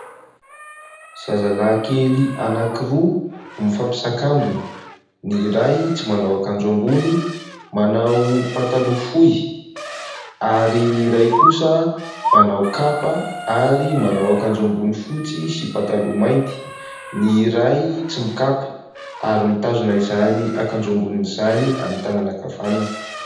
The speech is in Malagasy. Zazalahy kely anankiroa no mifampisakambina ; ny iray tsy manao akanjo ambony manao pataloha fohy ary ny iray kosa manao kapa ary manao akanjo ambony fotsy sy pataloha mainty ny iray tsy mikapa ary mitazona izany akanjo ambonin'izany amin'ny tànana ankavanana.